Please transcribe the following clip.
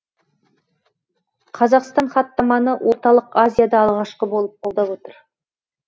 қазақстан хаттаманы орталық азияда алғашқы болып қолдап отыр